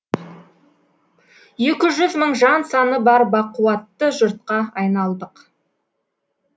екі жүз мың жан саны бар бақуатты жұртқа айналдық